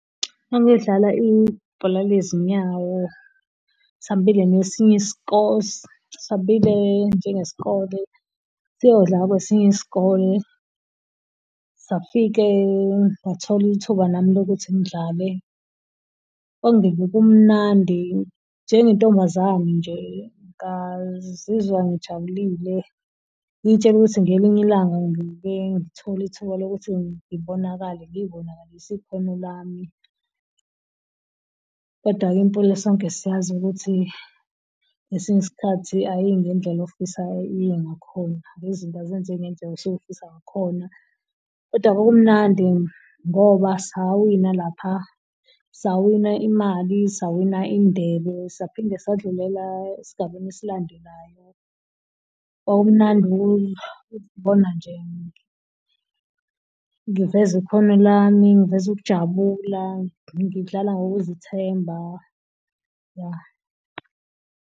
Ngangiyodlala ibhola lezinyawo sambile nesinye sambile njengesikole siyodla kwesinye isikole. Safike ngathola ithuba nami lokuthi ngidlale kwakungeve kumnandi njengentombazane nje ngazizwa ngijabulile, ngiy'tshela ukuthi ngelinye ilanga ngiyoke ngithole ithuba lokuthi ngibonakale ngiy'bonakalise ikhono lami. Kodwa-ke impilo sonke siyazi ukuthi ngesinye isikhathi ayiyi ngendlela ofisa iye ngakhona. Lezi zinto azenzeki ngendlela osuke ufisa ngakhona kodwa kwakumnandi ngoba sawina lapha. Sawina imali, sawina indebe, saphinde sadlulela esigabeni esilandelayo. Kwakumnandi ukubona nje ngiveza ikhono lami, ngiveza ukujabula, ngidlala ngokuzithemba ya.